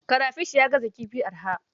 Karafish ya gaza kifi arha.